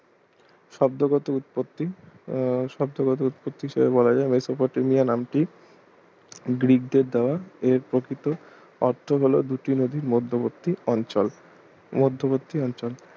শব্দগত উৎপত্তি আহ শব্দগত উৎপত্তি সেভাবে বলা যায় মেসোপটেমিয়া নামটি গ্রীকদের দেওয়া এর প্রকৃত অর্থ হল দুটি নদীর মধ্যবর্তী অঞ্চল মধ্যবর্তী অঞ্চল